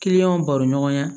baro ɲɔgɔnya